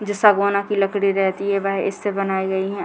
जे सागवाना की लकड़ी रेहती है वह इससे बनाई गई हैं।